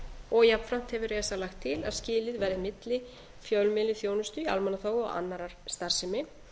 og jafnframt hefur esa lagt til að skilið væri milli fjölmiðlaþjónustu í almannaþjónustu og annarrar starfsemi